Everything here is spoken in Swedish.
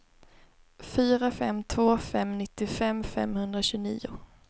fyra fem två fem nittiofem femhundratjugonio